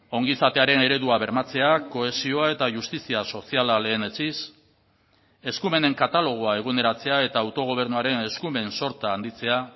ongizatearen eredua bermatzea kohesioa eta justizia soziala lehenetsiz eskumenen katalogoa eguneratzea eta autogobernuaren eskumen sorta handitzea